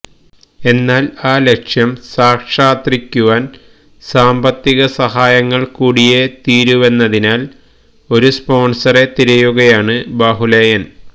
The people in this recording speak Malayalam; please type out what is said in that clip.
എന്നാല് ആ ലക്ഷ്യം സാക്ഷാത്രിക്കുവാന് സാമ്പത്തിക സഹായങ്ങള് കൂടിയേ തീരുവെന്നതിനാല് ഒരു സ്പോണ്സറെ തിരയുകയാണ് ബാഹുലേയന്